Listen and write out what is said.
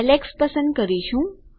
Alex પસંદ કરીશું